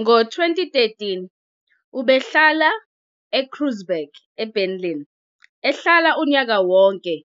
Ngo-2013 ubehlala eKreuzberg eBerlin ehlala unyaka wonke